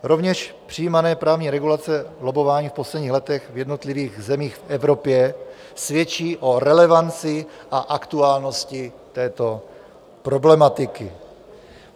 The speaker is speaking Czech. Rovněž přijímané právní regulace lobbování v posledních letech v jednotlivých zemích v Evropě svědčí o relevanci a aktuálnosti této problematiky.